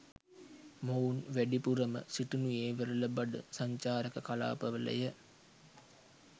මොවුන් වැඩිපුරම සිටිනුයේ වෙරළබඩ සංචාරක කලාපවලය.